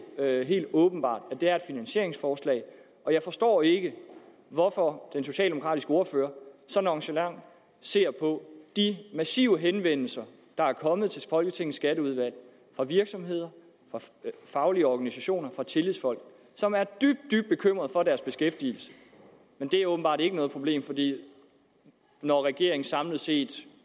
helt åbenbart at det er et finansieringsforslag jeg forstår ikke hvorfor den socialdemokratiske ordfører så nonchalant ser på det massive antal henvendelser der er kommet til folketingets skatteudvalg fra virksomheder fra faglige organisationer fra tillidsfolk som er dybt dybt bekymrede for deres beskæftigelse men det er åbenbart ikke noget problem for når regeringen samlet set